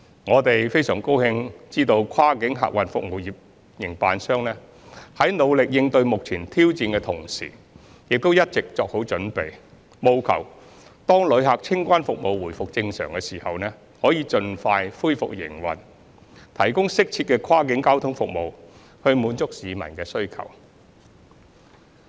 我們非常高興知悉跨境客運服務營辦商在努力應對目前挑戰的同時，亦一直作好準備，務求當旅客清關服務回復正常時，可以盡快恢復營運，提供適切的跨境交通服務，滿足市民的需求。